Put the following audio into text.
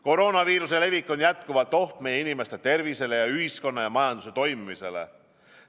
Koroonaviiruse levik on jätkuvalt oht meie inimeste tervisele ja ühiskonna ja majanduse toimimisele.